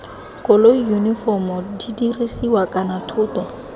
koloi yunifomo didirisiwa kana thoto